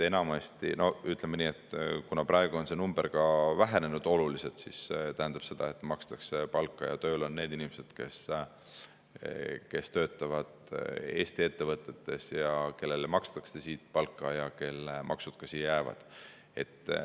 No ütleme nii, et kuna praegu on see number oluliselt vähenenud, siis see tähendab seda, et makstakse palka ja tööl on need inimesed, kes töötavad Eesti ettevõtetes ja kellele makstakse siit palka ja kelle maksud ka siia jäävad.